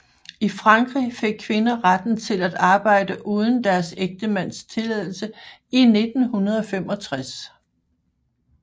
I Frankrig fik kvinder retten til at arbejde uden deres ægtemands tilladelse i 1965